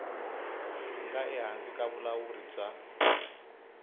nga ehansi ka vulawuri bya